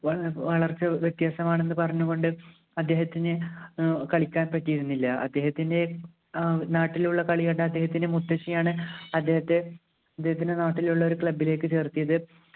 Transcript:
വളർച്ച വ്യത്യാസമാണെന്ന് പറഞ്ഞുകൊണ്ട് അദ്ദേഹത്തിന് ഏർ കളിക്കാൻ പറ്റിയിരുന്നില്ല അദ്ദേഹത്തിൻ്റെ ഏർ നാട്ടിലുള്ള കളികണ്ട് അദ്ദേഹത്തിൻ്റെ മുത്തശ്ശിയാണ് അദ്ദേഹത്തിൻ്റെ നാട്ടിലുള്ള ഒരു club ലേക്ക് ചേർത്തത്